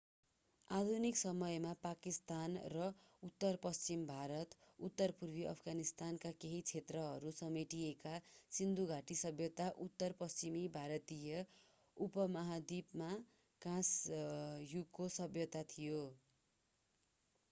आधुनिक समयका पाकिस्तान र उत्तर पश्चिमी भारत र उत्तर पूर्वी अफगानिस्तानका केही क्षेत्रहरू समेटिएका सिन्धु घाटी सभ्यता उत्तर पश्चिमी भारतीय उपमहाद्वीपमा काँस युगको सभ्यता थियो